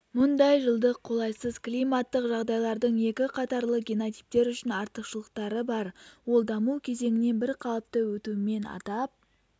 мұндай жылдық қолайсыз климаттық жағдайлардың екі қатарлы генотиптер үшін артықшылықтары бар ол даму кезеңінен бірқалыпты өтуімен атап